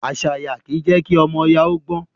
Àṣàyá kì í je kí ọmọ oyà ó gbon.